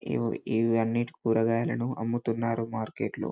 ఇవి ఇవి అన్నిటి కూరగాయలు అమ్ముతున్నారు మార్కెట్లో.